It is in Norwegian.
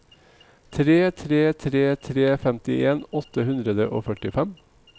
tre tre tre tre femtien åtte hundre og førtifem